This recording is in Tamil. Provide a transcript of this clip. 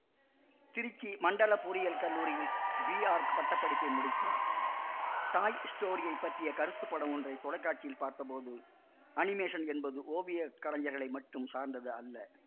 திருச்சி மண்டல பொறியியற் கல்லூரியில் பிஆர்க் பட்ட படிப்பை முடித்தார் டாய் ஸ்டோரியைப் பற்றிய கருத்துப்படம் ஒன்றை தொலைக்காட்சியில் பார்த்த போது அனிமேசன் என்பது ஓவியக்கலைஞர்களை மட்டும் சார்ந்தது அல்ல